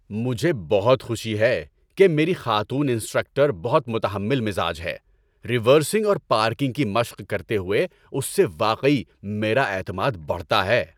مجھے بہت خوشی ہے کہ میری خاتون انسٹرکٹر بہت متحمل مزاج ہے؛ ریورسنگ اور پارکنگ کی مشق کرتے ہوئے اس سے واقعی میرا اعتماد بڑھتا ہے۔